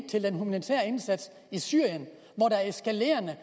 til den humanitære indsats i syrien hvor der er eskalerende